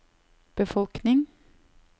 befolkning